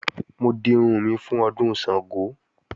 Mò ń dirun mi fún Ọdún Ṣàngó